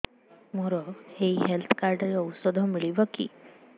ମୋର ଏଇ health card ରେ ଔଷଧ ମିଳିବ କି